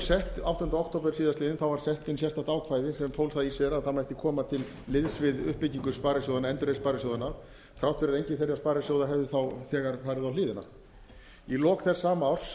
sett áttunda október síðastliðinn var sett inn sérstakt ákvæði sem fól það í sér að það mætti koma til liðs við uppbyggingu sparisjóðanna endurreisn sparisjóðanna þrátt fyrir að enginn þeirra sparisjóða hefðu þegar farið á hliðina í lok þess sama árs